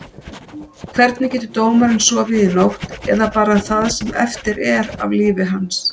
Hvernig getur dómarinn sofið í nótt, eða bara það sem eftir er af lífi hans?